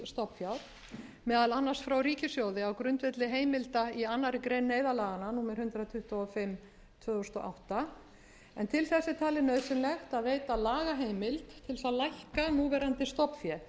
nýs stofnfjár meðal annars frá ríkissjóði á grundvelli heimild í annarri grein neyðarlaganna númer hundrað tuttugu og fimm tvö þúsund og átta en til þess er talið nauðsynlegt að veita lagaheimild til þess að lækka núverandi stofnfé